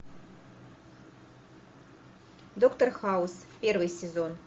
доктор хаус первый сезон